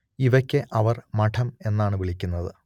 ഇവയ്ക്ക് അവർ മഠം എന്നാണ് വിളിക്കുന്നത്